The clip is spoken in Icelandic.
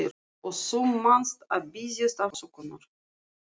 Og þú manst að biðjast afsökunar.